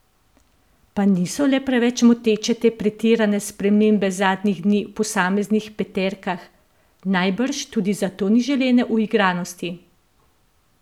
Pa niso le preveč moteče te pretirane spremembe zadnjih dni v posameznih peterkah, najbrž tudi zato ni želene uigranosti?